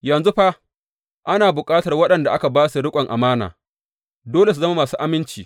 Yanzu fa, ana bukatar waɗanda aka ba su riƙon amana, dole su zama masu aminci.